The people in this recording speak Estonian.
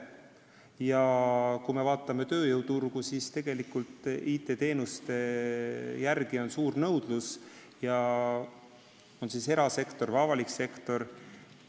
Ja kui me vaatame tööjõuturgu, siis tegelikult on IT-teenuste järele suur nõudlus, olgu erasektoris või avalikus sektoris.